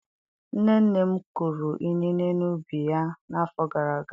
Nne nne m kụrụ inine n'ubi ya n'afọ gara aga.